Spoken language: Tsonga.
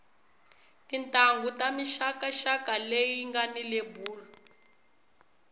tintanghu ta mixaka xaka leti ngani lebulu